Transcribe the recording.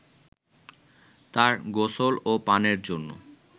তার গোসল ও পানের জন্য